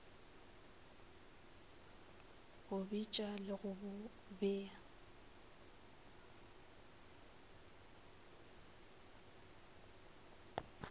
go bitša le go bea